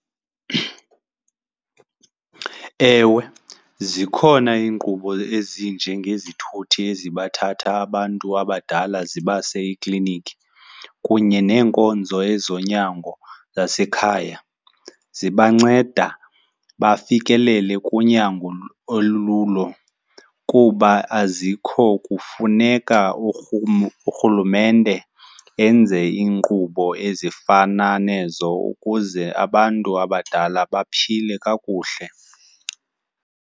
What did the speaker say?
Ewe, zikhona iinkqubo ezinjengezithuthi ezibathatha abantu abadala zibase iikliniki kunye neenkonzo ezonyango zasekhaya. Zibanceda bafikelele kunyango olululo. Kuba azikho kufuneka urhulumente enze iinkqubo ezifana nezo ukuze abantu abadala baphile kakuhle.